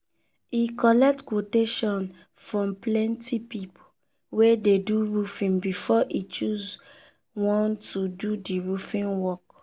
e collect qutation from plenty people wey dey do roofing before e choose one to do the roofing work.